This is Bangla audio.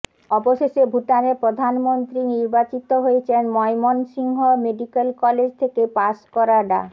অবশেষে ভুটানের প্রধানমন্ত্রী নির্বাচিত হয়েছেন ময়মনসিংহ মেডিক্যাল কলেজ থেকে পাস করা ডা